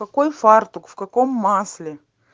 какой фартук в каком масле